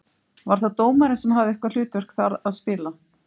Var það dómarinn sem hafði eitthvað hlutverk þar að spila?